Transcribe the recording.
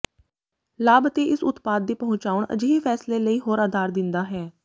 ਲਾਭ ਅਤੇ ਇਸ ਉਤਪਾਦ ਦੀ ਪਹੁੰਚਾਉਣ ਅਜਿਹੇ ਫ਼ੈਸਲੇ ਲਈ ਹੋਰ ਆਧਾਰ ਦਿੰਦਾ ਹੈ